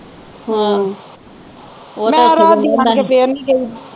ਹਮ ਮੈਂ ਰਾਤ ਦੀ ਆਣ ਕੇ ਫਿਰ ਨਹੀਂ ਗਈ